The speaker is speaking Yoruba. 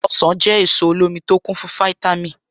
Ọ̀sán jẹ́ èso olómi tó kún fún fítámì.